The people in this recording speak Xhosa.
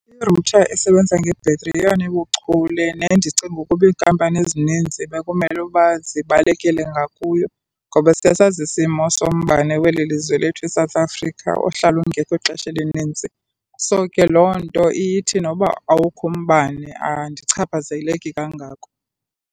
Irutha esebenza ngebhetri yeyona ibuchule nendicinga ukuba iinkampani ezininzi bekumele uba zibalekele ngakuyo, ngoba siyasazi isimo sombane weli lizwe lethu iSouth Africa ohlala ungekho ixesha elinintsi. So, ke loo nto ithi noba awukho umbane andichaphazeleki kangako.